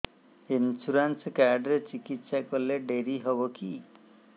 insurance card ରେ ଚିକିତ୍ସା କଲେ ଡେରି ହବକି